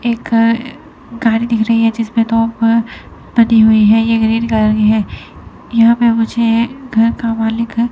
एक गा अ गाड़ी दिख रही है जिसमें तोप बनी हुई है ये ग्रीन कलर की है यहां पे मुझे घर का मलिक है।